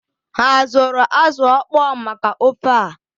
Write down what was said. Ha azụrụ azụ ọkpọọ maka ofe ah?